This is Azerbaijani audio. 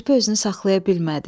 Kirpi özünü saxlaya bilmədi.